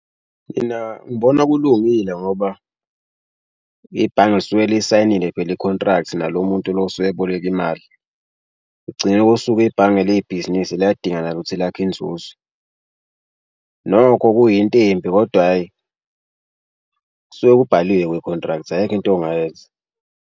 Mina ngibona kulungile ngoba ibhange lisuke lisayinile vele i-contract nalo muntu lo osuke eboleke imali. Ekugcineni kosuku ibhange libhizinisi liyadinga nalo ukuthi lakhe inzuzo. Nokho kuyinto embi kodwa hhayi kusuke kubhaliwe kwi-contract ayikho into ongayenza.